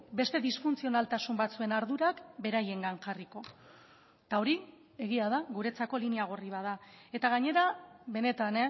beste disfuntzionaltasun batzuen ardurak beraiengan jarriko eta hori egia da guretzako linea gorri bat da eta gainera benetan